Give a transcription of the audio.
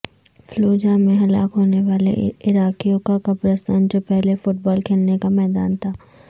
Fallujah میں ہلاک ہونے والے عراقیوں کا قبرستان جو پہلے فٹبال کھیلنے کا میدان تھا